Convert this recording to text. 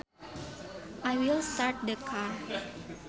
I will start the car